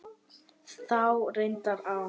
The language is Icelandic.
Þá reyndi á.